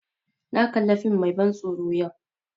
Na kali fim mai ban tsoro yau